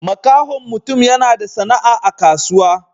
Makahon mutum yana da sana'a a kasuwa.